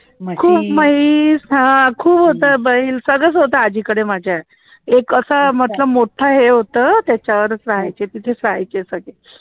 खूप म्हैस हं खूप होतं बैल सगळंच होतं आज्जीकडे माझ्या एक असं मस्त मोठं हे होतं त्याच्यावरच राहायचे, तिथे च राहायचे सगळे